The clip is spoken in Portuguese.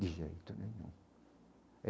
De jeito nenhum.